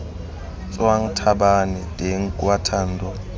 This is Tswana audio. tswang tlhabane teng kwa thando